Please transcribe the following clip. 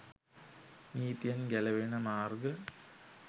නීතියෙන් ගැලවෙන මාර්ග